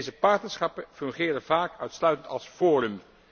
Deze partnerschappen fungeren vaak uitsluitend als forum.